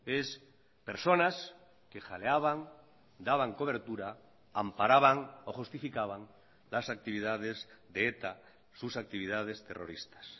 es personas que jaleaban daban cobertura amparaban o justificaban las actividades de eta sus actividades terroristas